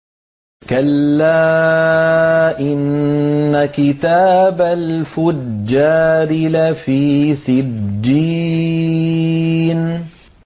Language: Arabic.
كَلَّا إِنَّ كِتَابَ الْفُجَّارِ لَفِي سِجِّينٍ